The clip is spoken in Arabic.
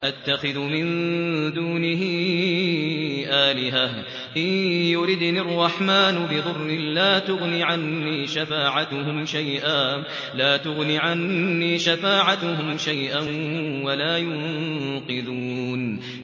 أَأَتَّخِذُ مِن دُونِهِ آلِهَةً إِن يُرِدْنِ الرَّحْمَٰنُ بِضُرٍّ لَّا تُغْنِ عَنِّي شَفَاعَتُهُمْ شَيْئًا وَلَا يُنقِذُونِ